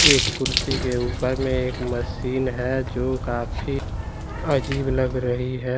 एक कुर्सी के ऊपर में एक मशीन है जो काफी अजीब लग रही है।